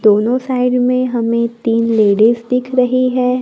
दोनों साइड में हमें तीन लेडिस दिख रही हैं।